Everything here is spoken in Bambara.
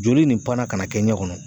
Joli nin panna ka na kɛ n ɲɛ kɔnɔ!